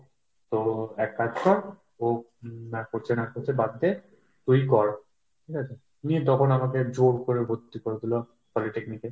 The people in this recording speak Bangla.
তো এক কাজ কর ও হম করছে না করছে বাদ দে তুই কর। ঠিক আছে, নিয়ে তখন আমাকে জোর করে ভর্তি করে দিলো polytechnic এ।